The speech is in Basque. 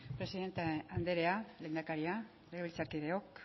presidente anderea lehendakaria legebiltzarkideok